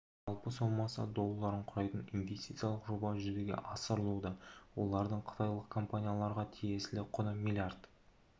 жалпы соммасы долларын құрайтын инвестициялық жоба жүзеге асырылуда олардың қытайлық компанияларға тиесілі құны млрд